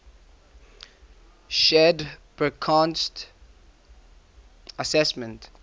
shared burckhardt's assessment